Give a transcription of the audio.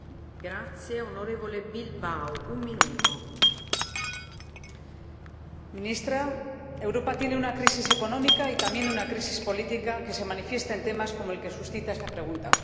Señora Presidenta, señora Ministra, Europa tiene una crisis económica y también una crisis política, que se manifiesta en temas como el que suscita esta pregunta.